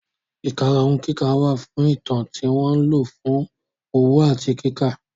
Ìkarahun kíkà wà fún Ìtàn tí wọ́n lò fún òwò àti kíkà.